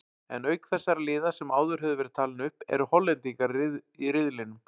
En auk þessara liða sem áður höfðu verið talin upp eru Hollendingar í riðlinum.